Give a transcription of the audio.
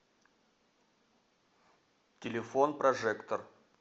телефон прожектор